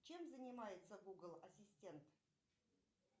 чем занимается гугл ассистент